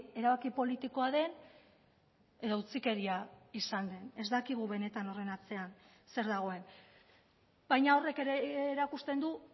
erabaki politikoa den edo utzikeria izan den ez dakigu benetan horren atzean zer dagoen baina horrek ere erakusten du